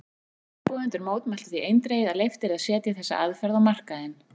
Fundarboðendur mótmæltu því eindregið að leyft yrði að setja þessa aðferð á markaðinn.